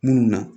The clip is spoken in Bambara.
Munnu na